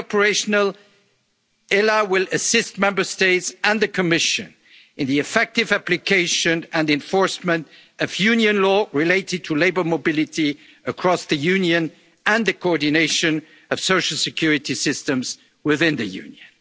Authority Once fully operational, the ELA will assist Member States and the Commission in the effective application and enforcement of Union law related to labour mobility across the Union and the coordination of social security systems